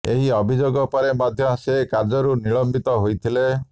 ଏହି ଅଭିଯୋଗ ପରେ ମଧ୍ୟ ସେ କାର୍ଯ୍ୟରୁ ନିଲମ୍ବିତ ହୋଇଥିଲେ